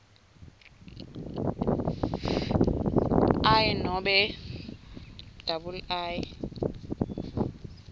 i nobe ii